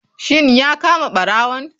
Shin ya kama barawon?